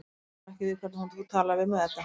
Ég kann nú ekki við hvernig þú talar við mig, Edda.